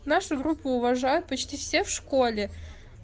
нашу группу уважают почти все в школе